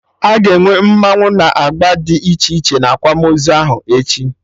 Aga enwe mmanwụ na agba dị iche iche na akwamozu ahụ echi